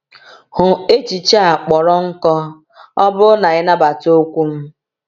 Hụ echiche a kpọrọ nkọ “ọ bụrụ na i nabata okwu m.”